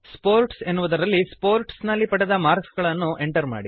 sports ಎನ್ನುವುದರಲ್ಲಿ sports ನಲ್ಲಿ ಪಡೆದ ಮಾರ್ಕ್ಸ್ ಗಳನ್ನು ಎಂಟರ್ ಮಾಡಿರಿ